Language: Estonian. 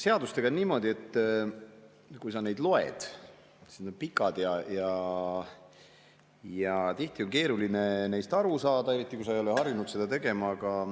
Seadustega on niimoodi, et kui sa neid loed, siis need on pikad ja tihti on keeruline neist aru saada, eriti kui sa ei ole harjunud.